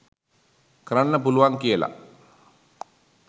කරන්න පුළුවන් කියල